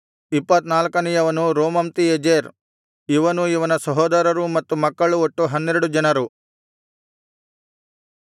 ಇಪ್ಪತ್ತನಾಲ್ಕನೆಯವನು Romamtiezer ಇವನೂ ಇವನ ಸಹೋದರರೂ ಮತ್ತು ಮಕ್ಕಳು ಒಟ್ಟು ಹನ್ನೆರಡು ಜನರು